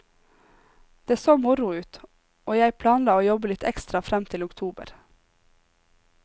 Det så moro ut, og jeg planla å jobbe litt ekstra frem til oktober.